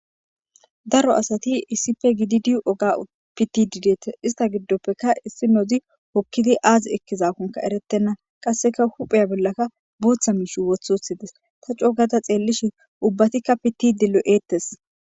Daro asati issipfe gididiu oga pitidideetes ista giddoppeka issi nozi hokkidi aazi ekkizakonka eretenna qasseka hupheya bollakka buutha miish wothothides ta coogata xeellishi ubbatikka pitidi lo'ettes